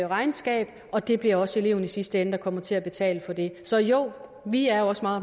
regnskab og det bliver også eleven der i sidste ende kommer til at betale for det så jo vi er også meget